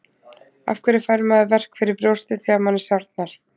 Af hverju fær maður verk fyrir brjóstið þegar manni sárnar?